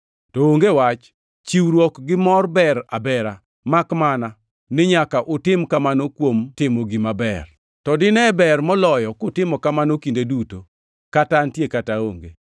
To onge wach, chiwruok gi mor ber abera, makmana ni nyaka utim kamano kuom timo gima ber. To dine ber moloyo kutimo kamano kinde duto, kata antie kata aonge.